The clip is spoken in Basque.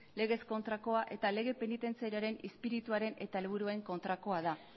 legez kontrakoa eta lege penitentziarioaren izpirituaren eta helburuen kontrakoa da